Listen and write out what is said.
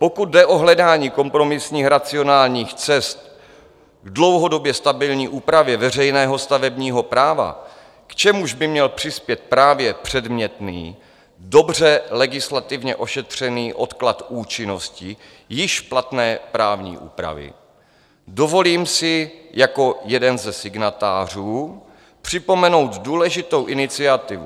Pokud jde o hledání kompromisních racionálních cest v dlouhodobě stabilní úpravě veřejného stavebního práva, k čemuž by měl přispět právě předmětný, dobře legislativně ošetřený odklad účinnosti již platné právní úpravy, dovolím si jako jeden ze signatářů připomenout důležitou iniciativu.